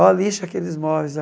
Ó, lixa aqueles móveis